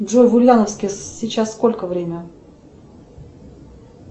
джой в ульяновске сейчас сколько время